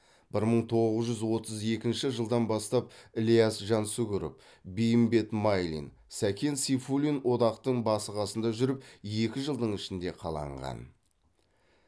бір мың тоғыз жүз отыз екінші жылдан бастап ілияс жансүгіров бейімбет майлин сәкен сейфуллин одақтың басы қасында жүріп екі жылдың ішінде қаланған